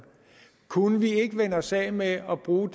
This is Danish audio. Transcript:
kunne vi ikke vende os af med at bruge